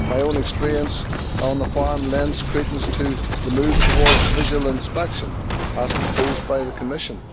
My own experience on a farm lends credence to the move towards visual inspection, as proposed by the Commission.